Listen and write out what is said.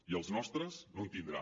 i els nostres no els tindrà